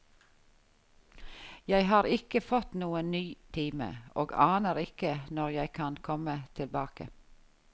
Jeg har ikke fått noen ny time og aner ikke når jeg kan komme tilbake.